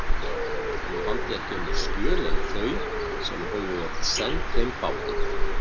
Hann valdi ekki önnur skjöl en þau, sem höfðu verið send þeim báðum.